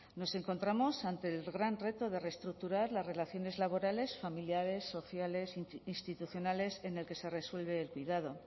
nos encontramos ante el gran reto de reestructurar las relaciones laborales familiares sociales e institucionales en el que se resuelve el cuidado